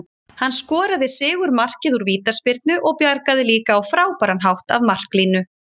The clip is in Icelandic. Hann skoraði sigurmarkið úr vítaspyrnu og bjargaði líka á frábæran hátt af marklínu.